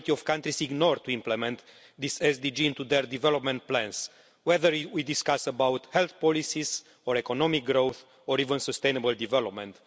the majority of countries do not implement this SDG into their development plans, whether we are discussing health policies or economic growth, or even sustainable development.